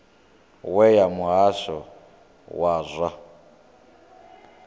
we ya muhasho wa zwa